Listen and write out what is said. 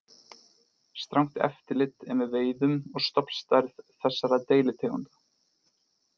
Strangt eftirlit er með veiðum og stofnstærð þessara deilitegunda.